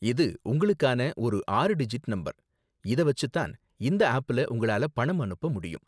இது உங்களுக்கான ஒரு ஆறு டிஜிட் நம்பர், இத வச்சு தான் இந்த ஆப்ல உங்களால் பணம் அனுப்ப முடியும்.